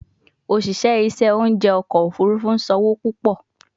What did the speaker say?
Oṣiṣẹ iṣẹ ounjẹ ọkọ ofurufu n san owo pupọ